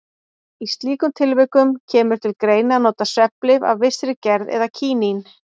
Í slíkum tilvikum kemur til greina að nota svefnlyf af vissri gerð eða kínín.